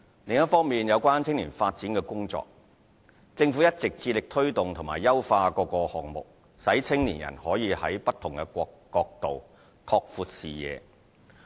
另一方面，有關青年發展的工作。政府一直致力推動及優化各項目，使青年人可在不同角度，拓闊視野。